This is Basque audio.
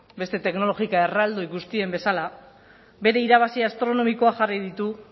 beste teknologika erraldoi guztien bezala bere irabazi astronomikoak jarri ditu